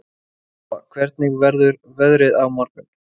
Alfa, hvernig verður veðrið á morgun?